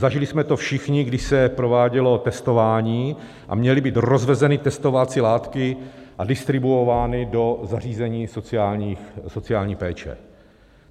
Zažili jsme to všichni, když se provádělo testování a měly být rozvezeny testovací látky a distribuovány do zařízeních sociální péče.